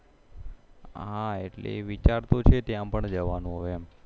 હા એટલે વિચાર તો છે ત્યાં પણ જવાનો એમ